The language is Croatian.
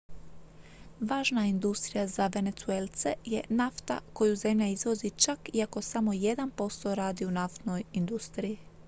važna industrija za venezuelce je nafta koju zemlja izvozi čak iako samo jedan posto radi u naftnoj industriji